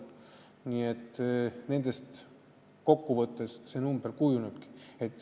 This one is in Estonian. Nii et kokku võttes nendest see number kujunebki.